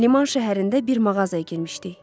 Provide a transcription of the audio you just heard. Liman şəhərində bir mağazaya girmişdik.